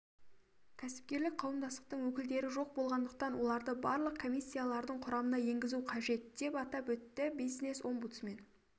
кәсіпкерлік қауымдастықтың өкілдері жоқ болғандықтан оларды барлық комиссиялардың құрамына енгізу қажет деп атап өтті бизнес-омбудсмен